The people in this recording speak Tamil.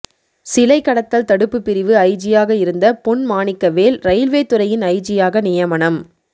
சிலைக்கடத்தல் தடுப்பு பிரிவு ஐஜியாக இருந்த பொன்மாணிக்கவேல் ரயில்வே துறையின் ஐஜியாக நியமனம்